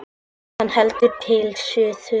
Hann hélt til suðurs.